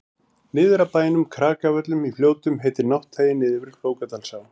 niður af bænum krakavöllum í fljótum heitir nátthagi niður við flókadalsá